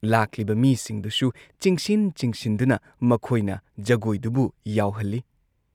ꯂꯥꯛꯂꯤꯕ ꯃꯤꯁꯤꯡꯗꯨꯁꯨ ꯆꯤꯡꯁꯤꯟ ꯆꯤꯡꯁꯤꯟꯗꯨꯅ ꯃꯈꯣꯏꯅ ꯖꯒꯣꯏꯗꯨꯕꯨ ꯌꯥꯎꯍꯜꯂꯤ ꯫